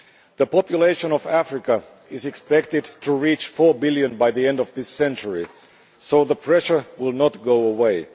The population of Africa is expected to reach four billion by the end of this century, so the pressure will not go away.